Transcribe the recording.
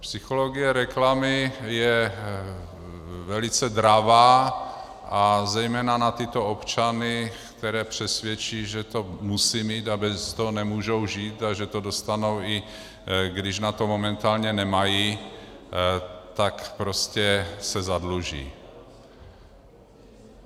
Psychologie reklamy je velice dravá a zejména na tyto občany, které přesvědčí, že to musí mít a bez toho nemůžou žít a že to dostanou, i když na to momentálně nemají, tak prostě se zadluží.